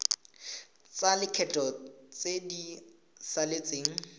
tsa lekgetho tse di saletseng